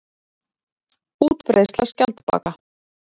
Útbreiðsla skjaldbaka.